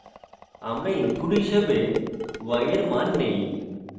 আমরা ব্যবহারকারীদের থেকে input হিসেবে y we মান নেই